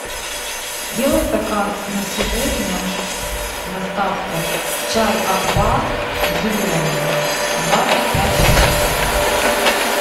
сделай заказ на сегодня доставку чай акбар зеленый двадцать пять пакетиков